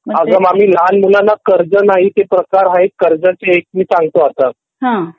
अग मामी लहान मुलांना कर्ज नाही तर प्रकार आहेंत ते मी सांगतो आता